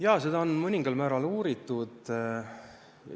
Jaa, seda on mõningal määral uuritud.